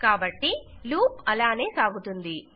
కాబట్టి లూప్ అలాగే సాగుతుంది